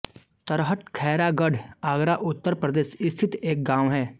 तरहट खैरागढ़ आगरा उत्तर प्रदेश स्थित एक गाँव है